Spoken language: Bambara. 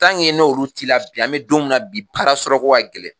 n'olu t'i la bi an bɛ don min na bi baara sɔrɔ ko ka gɛlɛn.